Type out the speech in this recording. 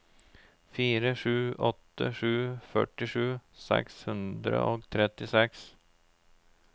fire sju åtte sju førtisju seks hundre og trettiseks